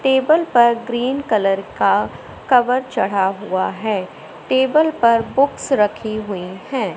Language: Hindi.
टेबल पर ग्रीन कलर का कवर चढ़ा हुआ है टेबल पर बुक्स रखी हुईं हैं।